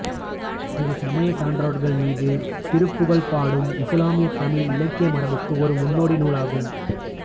இது சமயச் சான்றோர்கள் மீது திருப்புகழ் பாடும் இசுலாமியத் தமிழ் இலக்கிய மரபுக்கு ஒரு முன்னோடி நூல் ஆகும்